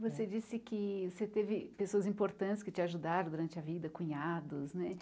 Você disse que você teve pessoas importantes que te ajudaram durante a vida, cunhados, né?